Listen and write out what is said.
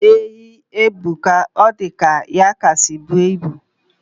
Enyi ebuka. Odika ya kasi bu ibu